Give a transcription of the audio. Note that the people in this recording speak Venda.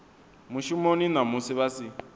mushumoni na musi vha si